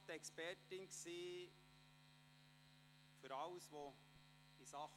Sie war die Expertin für alles Organisatorische.